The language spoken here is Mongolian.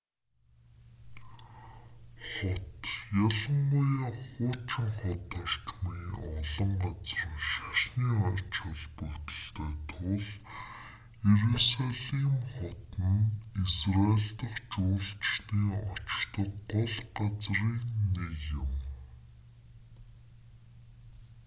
хот ялангуяа хуучин хот орчмын олон газар нь шашны ач холбогдолтой тул иерусалим хот нь израйль дахь жуулчдын очдог гол газрын нэг юм